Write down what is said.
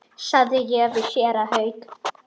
sagði ég við séra Hauk.